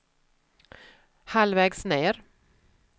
halvvägs ned